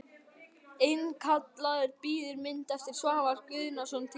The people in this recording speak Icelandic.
Einkaaðili býður mynd eftir Svavar Guðnason til sölu.